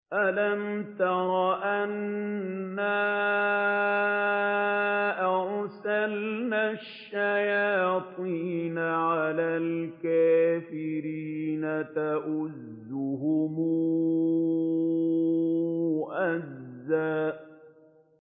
أَلَمْ تَرَ أَنَّا أَرْسَلْنَا الشَّيَاطِينَ عَلَى الْكَافِرِينَ تَؤُزُّهُمْ أَزًّا